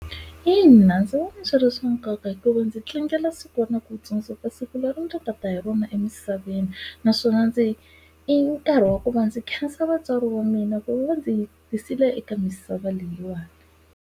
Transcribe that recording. Ina ndzi vona swi ri swa nkoka hikuva ndzi tlangela siku na ku tsundzuka siku leri ndzi ka ta hi rona emisaveni, naswona ndzi i nkarhi wa ku va ndzi khensa vatswari wa mina ku va ndzi yi tisile eka misava leyiwani.